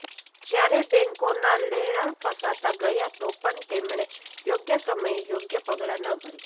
જ્યારે બેંકોના લેણા ફસાતા ગયા તો પણ તેમણે યોગ્ય સમયે યોગ્ય પગલાં ન ભર્યા